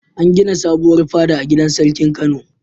An gina sabuwar fada a gidan sarkin Kano.